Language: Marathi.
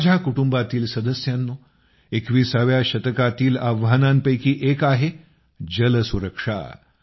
माझ्या कुटुंबातील सदस्यांनो २१व्या शतकातील आव्हानांपैकी एक आहे जल सुरक्षा